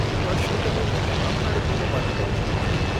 પણ શું તમે તે તમામ કાર્યક્રમો માટે કરી શકો છો?